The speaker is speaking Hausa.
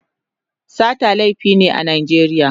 Sata laifi ne a Najeriya.